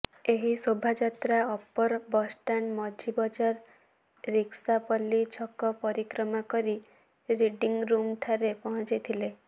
ଏହି ଶୋଭାଯାତ୍ରା ଅପର ବସଷ୍ଟାଣ୍ଡ ମଝି ବଜାର ରିକ୍କାପଲ୍ଲୀ ଛକ ପରିକ୍ରମା କରି ରିଡିଂ ରୁମ ଠାରେ ପହଞ୍ଚିଥିଲେ